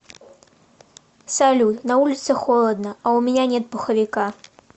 салют на улице холодно а у меня нет пуховика